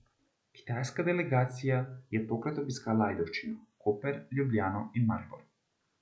Kitajska delegacija je tokrat obiskala Ajdovščino, Koper, Ljubljano in Maribor.